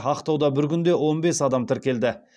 ақтауда бір күнде он бес адам тіркелді